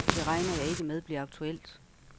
Det regner jeg ikke med bliver aktuelt.